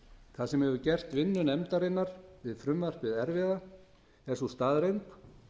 það sem hefur gert vinnu nefndarinnar við frumvarpið erfiða er sú staðreynd